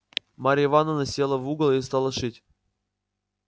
марья ивановна села в угол и стала шить